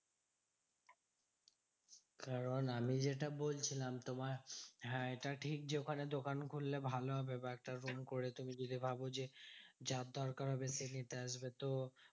কারণ আমি যেটা বলছিলাম তোমার হ্যাঁ এটা ঠিক যে, ওখানে দোকান খুললে ভালো হবে। but তারপরে করে তুমি যদি ভাবো যে যার দরকার হবে নিতে আসবে, তো